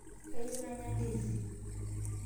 Kayieu nanya ndizi